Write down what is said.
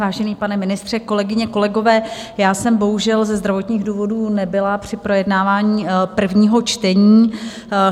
Vážený pane ministře, kolegyně, kolegové, já jsem bohužel ze zdravotních důvodů nebyla při projednávání prvního čtení.